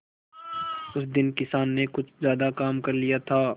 उस दिन किसान ने कुछ ज्यादा काम कर लिया था